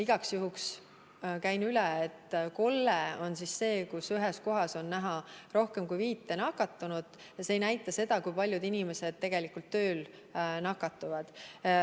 Igaks juhuks käin üle: kolle on see, kus ühes kohas on rohkem kui viis nakatunut, aga see ei näita seda, kui paljud inimesed tegelikult tööl nakatuvad.